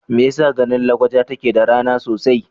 Me yasa garin Lakwaja take da rana sosai?